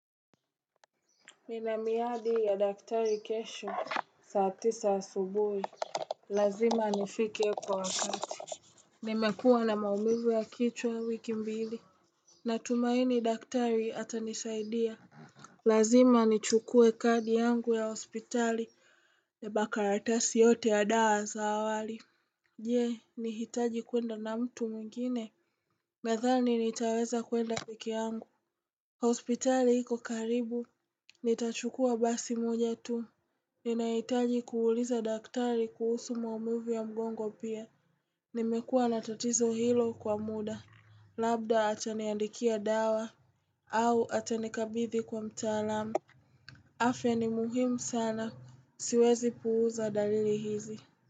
Nina miadi ya daktari kesho saa tisa asubuhi. Lazima nifike kwa wakati. Nimekuwa na maumivu ya kichwa wiki mbili. Natumaini daktari atanisaidia. Lazima nichukue kadi yangu ya hospitali na makaratasi yote ya dawa za awali. Je, nihitaji kwenda na mtu mwingine? Nathani nitaweza kwenda pekee yangu. Hospitali iko karibu, nitachukua basi moja tu, ninahitaji kuuliza daktari kuhusu muamivu ya mgongo pia. Nimekuwa na tatizo hilo kwa muda, labda ataniandikia dawa, au atanikabidhi kwa mtaalamu. Afya ni muhimu sana, siwezi puuza dalili hizi.